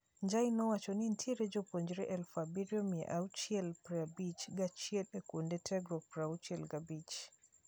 Njai nowacho ni nitiere jopuonjre eluf abirio mia achiel prabich gachiel e kuonde tiegruok prauchiel gabich.